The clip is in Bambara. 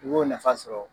I b'o nafa sɔrɔ